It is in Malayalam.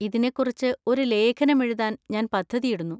ഇതിനെക്കുറിച്ച് ഒരു ലേഖനം എഴുതാൻ ഞാൻ പദ്ധതിയിടുന്നു.